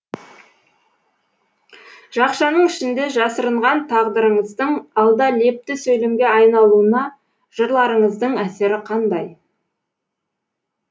жақшаның ішінде жасырынған тағдырыңыздың алда лепті сөйлемге айналуына жырларыңыздың әсері қандай